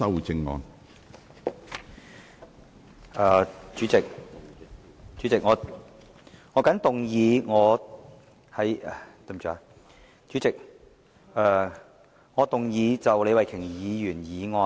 主席，我動議修正李慧琼議員的議案。